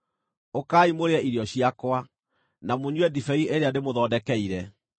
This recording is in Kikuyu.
Ũkai mũrĩe irio ciakwa, na mũnyue ndibei ĩrĩa ndĩmũthondekeire.